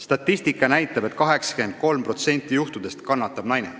Statistika näitab, et 83%-l juhtudest kannatab naine.